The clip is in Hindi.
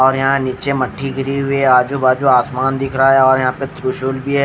और यहाँ नीचे मठी गिरी हुई है आजु बाजु आसमान दिख रहा है और यहाँ पर त्रिशूल भी है।